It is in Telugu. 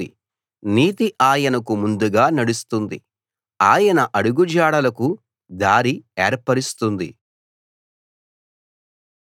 నీతి ఆయనకు ముందుగా నడుస్తుంది ఆయన అడుగుజాడలకు దారి ఏర్పరస్తుంది